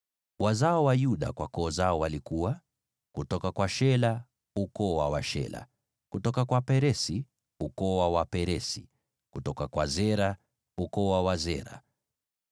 Wazao wa Yuda kwa koo zao walikuwa: kutoka kwa Shela, ukoo wa Washela; kutoka kwa Peresi, ukoo wa Waperesi; kutoka kwa Zera, ukoo wa Wazera.